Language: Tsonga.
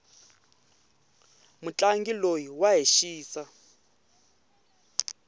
mutlangi loyi wa hi xisa